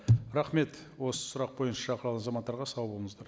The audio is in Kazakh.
рахмет осы сұрақ бойынша шақырылған азаматтарға сау болыңыздар